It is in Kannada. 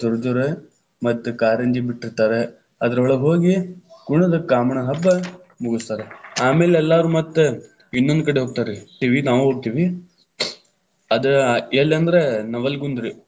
ಜೋರ ಜೋರ, ಮತ್ತ್ ಕಾರಂಜಿ ಬಿಟ್ಟಿತಾ೯ರ ಅದರೊಳಗ ಹೋಗಿ ಕುಣದ್ ಕಾಮಣ್ಣನ ಹಬ್ಬ ಮುಗಸ್ತಾರ, ಆಮೇಲ ಎಲ್ಲಾರು ಮತ್ತ ಇನ್ನೊಂದ್ ಕಡೆ ಹೋಗ್ತಾರ್ರಿ, ಅಲ್ಲಿ ನಾವು ಹೋಗ್ತೀವಿ, ಅದ್‌ ಎಲ್ಲಂದ್ರ ನವಲಗುಂದರೀ.